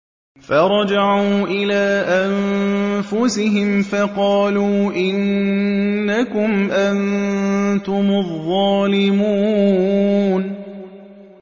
فَرَجَعُوا إِلَىٰ أَنفُسِهِمْ فَقَالُوا إِنَّكُمْ أَنتُمُ الظَّالِمُونَ